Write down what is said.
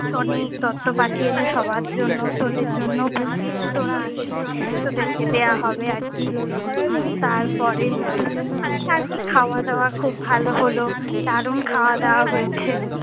Sony তত্ব পাঠিয়েছে সবার জন্য। তোদের জন্যও পাঠিয়েছে। তোরা আসলে তোদেরকে দেওয়া হবে আর কি। হম তার পরে আর কি খাওয়া দাওয়া খূব ভালো হলো। দারুন খাওয়া দাওয়া হয়েছে।